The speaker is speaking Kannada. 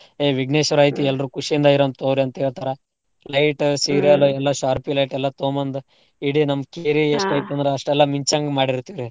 ಏ ವಿಘ್ನೇಶ್ವರ ಐತಿ ಎಲ್ರೂ ಖುಶಿಯಿಂದ ಇರೂನ್ ತಗೋರಿ ಅಂತೇಳ್ತರ. light, serial ಎಲ್ಲಾ sharpy light ಎಲ್ಲಾ ತೊಗೊಂಬಂದ್ ಇಡೀ ನಮ್ ಕೇರಿ ಅಷ್ಟೆಲ್ಲಾ ಮಿಂಚಂಗ್ ಮಾಡಿರ್ತೇವ್ರೀ.